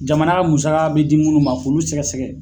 Jamana ka musaka be di munnu ma, k'olu sɛgɛsɛgɛ.